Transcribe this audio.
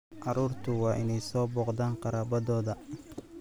Carruurtu waa inay soo booqdaan qaraabadooda.